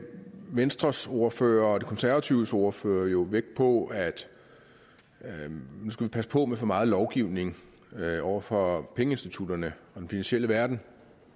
venstres ordfører og konservatives ordfører jo vægt på at man skulle passe på med for meget lovgivning over for pengeinstitutterne og den finansielle verden